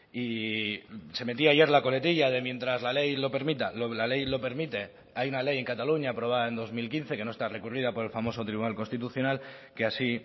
y se metía ayer la coletilla de mientras la ley lo permita la ley lo permite hay una ley en cataluña aprobada en dos mil quince que no está recurrida por el famoso tribunal constitucional que así